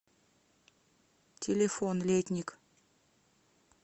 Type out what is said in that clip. телефон летник